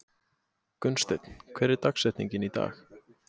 Gunnsteinn, hver er dagsetningin í dag?